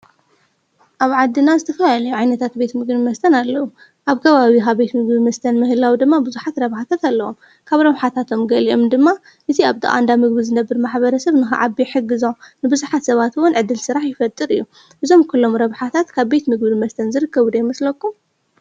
ኣብ ዓድና ዝተፈላለዩ ዓይነታት ቤት ምግብን መስተን ኣለዉ። ኣብ ከባቢካ ምግብን መስተን ምህላዉ ድማ ቡዝሓት ረብሓታት ኣለዎም። ካብ ራብሓታቶም ገሊኦም ድማ እቲ ኣብ ጥቃ እንዳ ቤት ምግቢ ዝነብር ማሕበረሰብ ንከዓቢ ይሕግዞ። ንቡዝሓት ሰባት ዉን ዕድል ስራሕ ይፈጥር እዩ። እዞም ኩሎም ረብሓታት ካብ ቤት ምግብን መስተን ዝርከቡ ዶ ይመስለኩም?